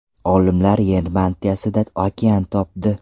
Olimlar Yer mantiyasida okean topdi.